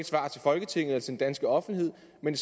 svar til folketinget den danske offentlighed men